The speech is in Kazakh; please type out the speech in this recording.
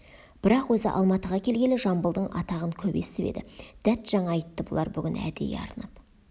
бірақ өзі алматыға келгелі жамбылдың атағын көп естіп еді дәт жаңа айтты бұлар бүгін әдейі арнап